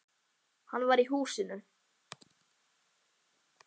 Hann var í húsinu.